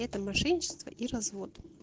это мошенничество и развод